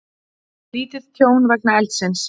Lítið tjón vegna eldsins